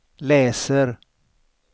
läser